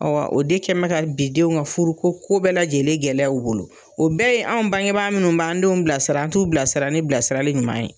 Ɔ wa o de kɛ bɛ ka bidenw ka furu ko bɛɛ lajɛlen gɛlɛya u bolo o bɛɛ ye an bangebaa minnu b'an denw bilasira an t'u bilasira ni bilasirali ɲuman ye